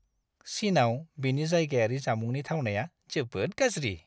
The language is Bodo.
चीनआव बेनि जायगायारि जामुंनि थावनाया जोबोद गाज्रि!